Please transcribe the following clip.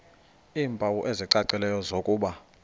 iimpawu ezicacileyo zokuba